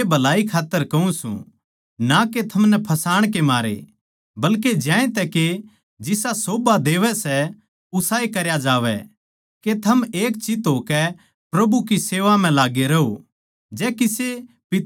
मै या बात थारी ए भलाई खात्तर कहूँ सूं ना के थमनै फसाण के मारे बल्के ज्यांतै के जिसा सोभा देवै सै उसाए करया जावै के थम एक चित्त होकै प्रभु की सेवा म्ह लाग्गे रहो